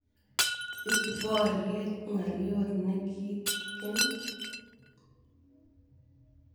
Ipu poryet ng'alyot ne kitikin.